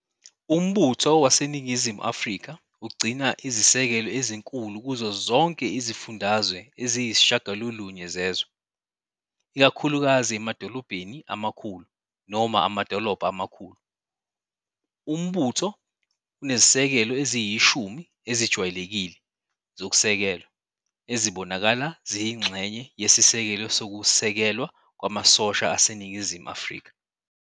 Umbutho waseNingizimu Afrika ugcina izisekelo ezinkulu kuzo zonke izifundazwe eziyi-9 zezwe, ikakhulukazi emadolobheni amakhulu noma amadolobha amakhulu- Umbutho unezisekelo eziyishumi ezijwayelekile zokusekelwa, ezibonakala ziyingxenye yeSisekelo Sokusekelwa Kwamasosha aseNingizimu Afrika.